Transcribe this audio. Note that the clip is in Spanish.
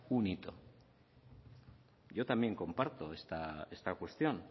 un hito yo también comparto esta cuestión